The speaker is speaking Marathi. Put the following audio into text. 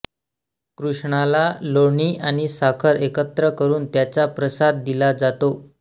कृष्णाला लोणी आणि साखर एकत्र करून त्याचा प्रसाद दिला जातो